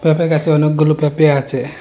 উপরে গাছে অনেকগুলো পেঁপে আছে।